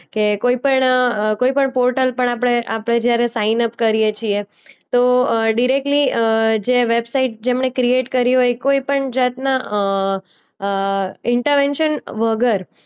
કે કોઈ પણ અ કોઈ પણ પોર્ટલ પર આપણે આપણે જ્યારે સાઈનઅપ કરીએ છીએ તો અ ડિરેક્ટલી અ જે વેબસાઈટ જેમણે ક્રિએટ કરી હોય કોઈ પણ જાતના અ અ ઈન્ટાવેન્શન વગર